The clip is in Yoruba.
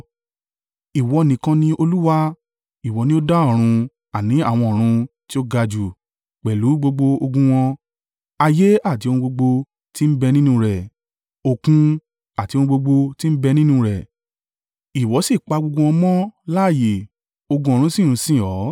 Ìwọ nìkan ni Olúwa. Ìwọ ni ó dá ọ̀run, àní àwọn ọ̀run tí ó ga jù pẹ̀lú gbogbo ogun wọn, ayé àti ohun gbogbo tí ń bẹ nínú rẹ̀, òkun, àti ohun gbogbo tí ń bẹ nínú rẹ̀. Ìwọ sì pa gbogbo wọn mọ́ láàyè, ogun ọ̀run sì ń sìn ọ́.